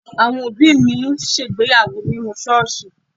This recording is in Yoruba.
Àwọn òbí mi ṣègbéyàwó nínú ṣọ́ọ̀ṣì.